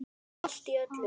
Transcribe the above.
Allt í öllu.